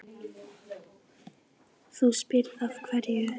Þú spyrð af hverju.